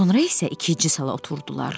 Sonra isə ikinci sala oturdular.